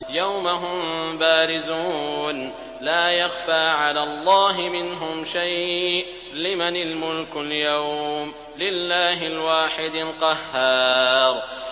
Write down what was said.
يَوْمَ هُم بَارِزُونَ ۖ لَا يَخْفَىٰ عَلَى اللَّهِ مِنْهُمْ شَيْءٌ ۚ لِّمَنِ الْمُلْكُ الْيَوْمَ ۖ لِلَّهِ الْوَاحِدِ الْقَهَّارِ